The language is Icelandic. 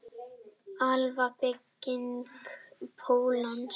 Alfa-bygging pólons.